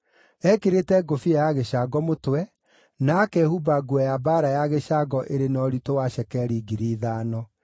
Eekĩrĩte ngũbia ya gĩcango mũtwe, na akehumba nguo ya mbaara ya gĩcango ĩrĩ na ũritũ wa cekeri ngiri ithano;